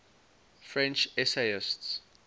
french essayists